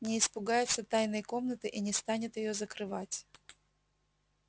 не испугается тайной комнаты и не станет её закрывать